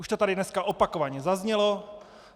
Už to tady dneska opakovaně zaznělo.